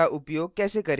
का उपयोग कैसे करें